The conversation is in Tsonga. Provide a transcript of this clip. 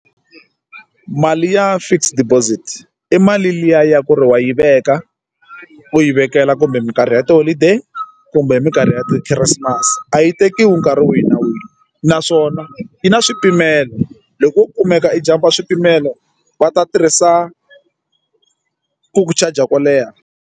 Mali ya fixed deposit i mali liya ya ku ri wa yi veka u yi vekela kumbe mikarhi ya tiholideyi kumbe hi minkarhi ya ti-christimas a yi yi tekiwi nkarhi wihi na wihi naswona yi na swipimelo loko u kumeka i jampa swipimelo va ta tirhisa ku ku charger ku leha.